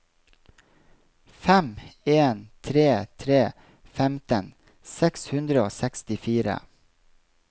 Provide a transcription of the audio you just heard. fem en tre tre femten seks hundre og sekstifire